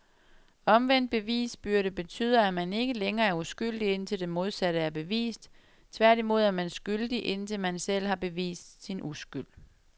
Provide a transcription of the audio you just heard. Omvendt bevisbyrde betyder, at man ikke længere er uskyldig indtil det modsatte er bevist, tværtimod, er man skyldig indtil man selv har bevist sin uskyld.